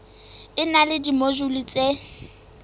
e na le dimojule tse